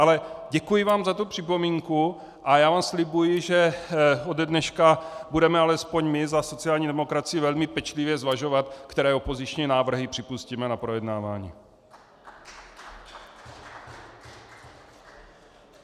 Ale děkuji vám za tu připomínku a já vám slibuji, že ode dneška budeme alespoň my za sociální demokracii velmi pečlivě zvažovat, které opoziční návrhy připustíme na projednávání.